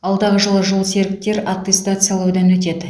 алдағы жылы жолсеріктер аттестациялаудан өтеді